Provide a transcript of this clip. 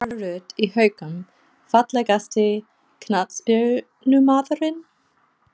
Lára Rut í Haukum Fallegasti knattspyrnumaðurinn?